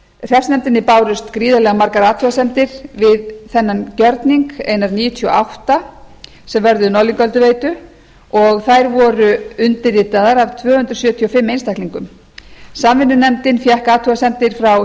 hreppsnefndinni bárust gríðarlega margar athugasemdir við þennan gjörning einar níutíu og átta sem vörðuðu norðlingaölduveitu og þær voru undirritaðar af tvö hundruð sjötíu og fimm einstaklingum samvinnunefndin fékk athugasemdir frá